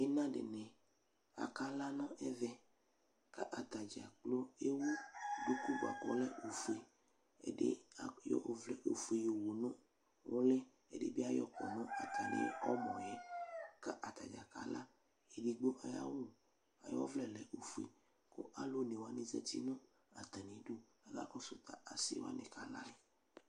Ima dini akla nʋ ɛvɛ k'atadzaa kplo ewu duku nua k'ɔlɛ ofue Ɛdi ayɔ ɔvlɛ ofue yowu nʋ ʋli, ɛdi bi, ɛdi bi ayɔ kɔ nʋ atami ɔmɔ yɛ ka atadzaa kala, edigbo syawʋ ayʋ ɔvlɛ lɛ ofue kʋ alʋ onewani zati nʋ atamidu k'aka kɔsʋ a asiwani kala yɛ